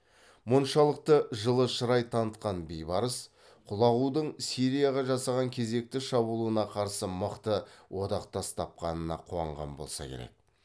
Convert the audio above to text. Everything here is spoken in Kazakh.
мұншалықты жылышырай танытқан бейбарыс құлағудың сирияға жасар кезекті шабуылына қарсы мықты одақтас тапқанына қуанған болса керек